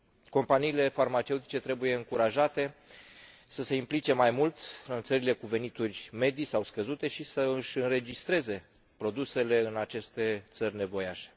Companiile farmaceutice trebuie încurajate să se implice mai mult în țările cu venituri medii sau scăzute și să își înregistreze produsele în aceste țări nevoiașe.